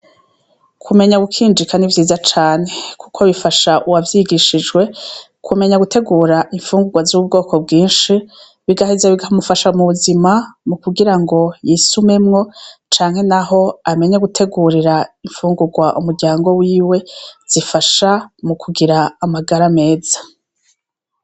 Kumenya gukinjika nivyiza cane, kuko bifasha uwavyigishijwe kumenya gutegura imfungurwa z'ubwoko bwinshi, bigaheza bikamufasha mubuzima, mukugirango y'isumemwo canke naho amenye gutegurira imfungurwa umuryango wiwe zifasha mukugira amagara meza.